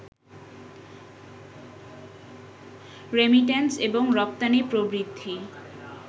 remittance এবং রপ্তানি প্রবৃদ্ধি